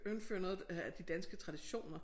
Indføre noget af de danske traditioner